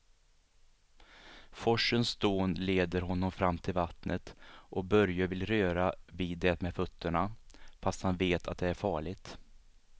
Forsens dån leder honom fram till vattnet och Börje vill röra vid det med fötterna, fast han vet att det är farligt.